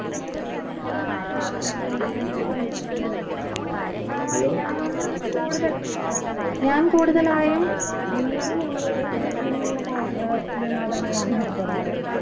ഏർ ഇതിൽ ഏർ ഞാൻ കൂടുതൽ ഞാൻ കൂടുതലായും വീടിനുള്ളിൽ തന്നെ ഇരുന്നുള്ള കായി ഏർ വിനോദങ്ങളിലാണ് ഏർപ്പെടാറ്